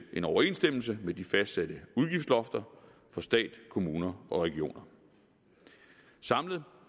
en overensstemmelse med de fastsatte udgiftslofter for stat kommuner og regioner samlet